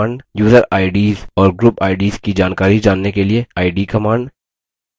user ids और group ids की जानकारी जानने के लिए id command